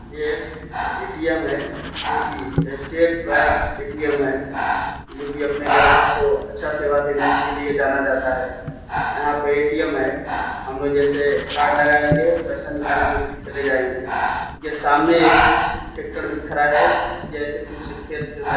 ये एक ए.टी.एम. है जो की स्टेट बैंक ए.टी.एम. है जो कि अपने ग्राहकों को अच्छी सेवा देने के लिए जाना जाता है यहाँ पे ए.टी.एम. है हम लोग जैसे कार्ड लगाएंगे पैसे निकालेंगे और फिर चले जाएंगे सामने एक ट्रैक्टर भी खड़ा है ।